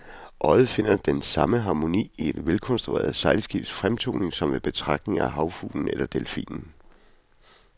Øjet finder den samme harmoni i et velkonstrueret sejlskibs fremtoning som ved betragtning af havfuglen eller delfinen.